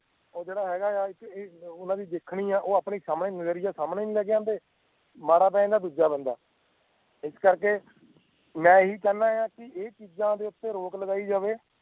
ਉਹ ਜੇੜਾ ਹੈਗਾ ਹੈ ਉਨ੍ਹਾਂ ਦੀ ਦੇਖਣੀ ਹੈ ਓ ਆਪਣੀ ਨਜ਼ਰੀਆ ਸਮਜ ਨਜ਼ਰੀਆ ਸਾਮਣੇ ਨਹੀਂ ਲੈਕ ਆਂਦੇ ਮਾੜਾ ਪਏ ਜਾਂਦਾ ਦੂਜਾ ਬੰਦਾ ਇਸ ਕਰਕੇ ਮੈਂ ਇਹੀ ਚਾਹੀਦਾ ਕਿ ਏ ਚੀਜਾਂ ਤੇ ਰੋਕ ਲਗਾਈ ਜਾਵੇ